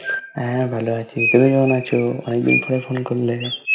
হ্যাঁ ভালো আছি তুমি কেমন আছো? অনেক দিন পরে ফোন করলে